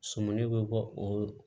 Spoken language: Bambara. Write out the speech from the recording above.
Sɔmili bɛ bɔ o